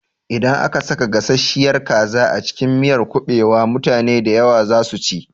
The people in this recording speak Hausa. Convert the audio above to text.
Idan aka saka gasasshiyar kaza a cikin miyar kuɓewa, mutane dayawa za su ci